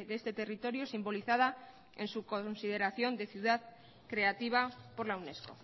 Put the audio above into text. de este territorio simbolizada en su consideración de ciudad creativa por la unesco